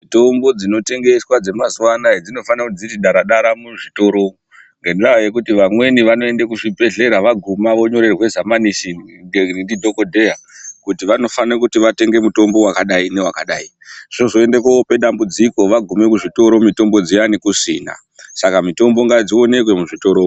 Mutombo dzinotengeswa dzemazuwanaya dzinofana dziri dara dara muzvitoro umwu ngendaa yekuti vamweni vanoende kuzvibhedhlera vaguma vonyorerwe zamanishini ndi dhokodheya kuti vanofana kuti vatenge mutombo wakadai newakadai, zvozoende kope dambudziko vagumwe muzvitoro mutombo dziyani kusina saka mutombo ngadzioneke muzvitoro umwu.